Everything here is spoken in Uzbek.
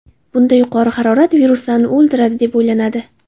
Bunda yuqori harorat viruslarni o‘ldiradi deb o‘ylanadi.